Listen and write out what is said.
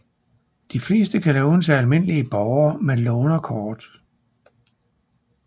De fleste kan lånes af almindelige borgere med lånerkort